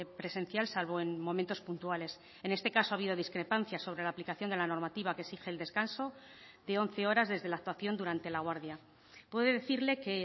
presencial salvo en momentos puntuales en este caso ha habido discrepancias sobre la aplicación de la normativa que exige el descanso de once horas desde la actuación durante la guardia puede decirle que